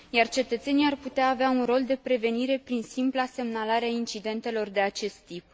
Cetățenii ar putea avea un rol de prevenire prin simpla semnalare a incidentelor de acest tip.